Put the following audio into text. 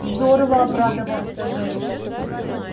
здорово обрадовался женька